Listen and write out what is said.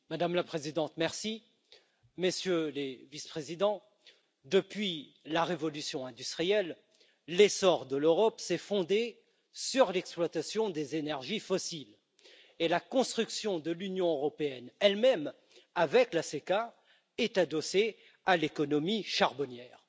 Madame la Présidente, Messieurs les Vice présidents, depuis la révolution industrielle, l'essor de l'Europe s'est fondé sur l'exploitation des énergies fossiles, et la construction de l'Union européenne elle même avec la CECA est adossée à l'économie charbonnière.